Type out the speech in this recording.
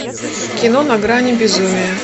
кино на грани безумия